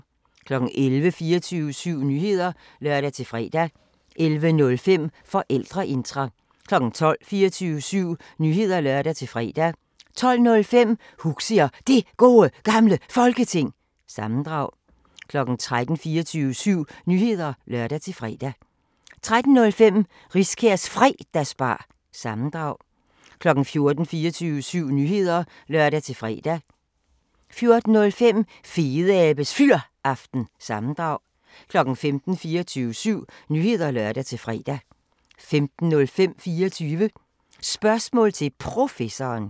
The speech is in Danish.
11:00: 24syv Nyheder (lør-fre) 11:05: Forældreintra 12:00: 24syv Nyheder (lør-fre) 12:05: Huxi og Det Gode Gamle Folketing – sammendrag 13:00: 24syv Nyheder (lør-fre) 13:05: Riskærs Fredagsbar- sammendrag 14:00: 24syv Nyheder (lør-fre) 14:05: Fedeabes Fyraften – sammendrag 15:00: 24syv Nyheder (lør-fre) 15:05: 24 Spørgsmål til Professoren